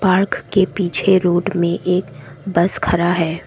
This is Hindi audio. पार्क के पीछे रोड में एक बस खड़ा है।